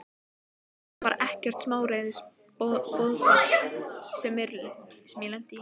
Þetta var ekkert smáræðis boðafall sem ég lenti í!